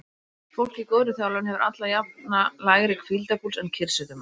Fólk í góðri þjálfun hefur alla jafna lægri hvíldarpúls en kyrrsetumenn.